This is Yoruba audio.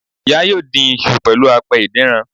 Ìya yóò dín isu pẹ̀lú apẹ ìdínran